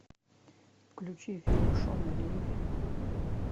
включи фильм шона ли